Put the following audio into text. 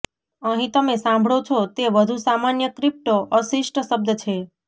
અહીં તમે સાંભળો છો તે વધુ સામાન્ય ક્રિપ્ટો અશિષ્ટ શબ્દ છે